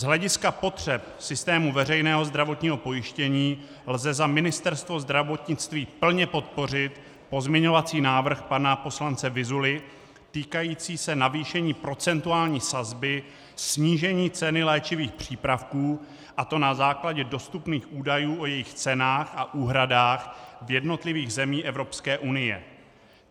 Z hlediska potřeb systému veřejného zdravotního pojištění lze za Ministerstvo zdravotnictví plně podpořit pozměňovací návrh pana poslance Vyzuly týkající se navýšení procentuální sazby, snížení ceny léčivých přípravků, a to na základě dostupných údajů o jejich cenách a úhradách v jednotlivých zemích Evropské unie.